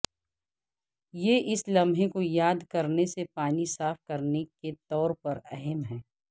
یہ اس لمحے کو یاد کرنے سے پانی صاف کرنے کے طور پر اہم ہے